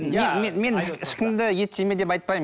мен ешкімді ет жеме деп айтпаймын